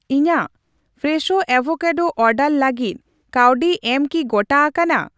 ᱤᱧᱟᱜ fresh avocado order ᱞᱟᱜᱤᱫ ᱠᱟᱹᱣᱰᱤ ᱮᱢ ᱠᱤ ᱜᱚᱴᱟ ᱟᱠᱟᱱᱟ ?